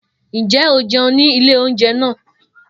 Njẹ a jẹun ni ile ounjẹ naa?